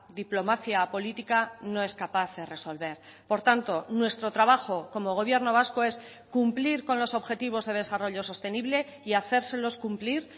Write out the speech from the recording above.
diplomacia política no es capaz de resolver por tanto nuestro trabajo como gobierno vasco es cumplir con los objetivos de desarrollo sostenible y hacérselos cumplir